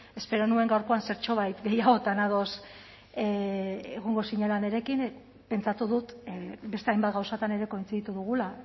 espero nuen gaurkoan zertxobait gehiagotan ados egongo zinela nirekin pentsatu dut beste hainbat gauzatan ere kointziditu dugula